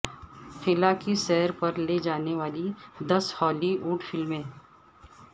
خلا کی سیر پر لے جانے والی دس ہالی وڈ فلمیں